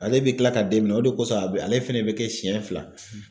Ale bɛ kila ka den minɛ o de kosɔn a bɛ ale fɛnɛ bɛ kɛ siɲɛ fila;